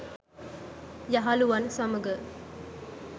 යහළුවන් සමඟ